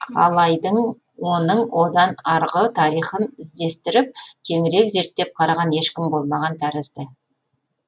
алайдың оның одан арғы тарихын іздестіріп кеңірек зерттеп қараған ешкім болмаған тәрізді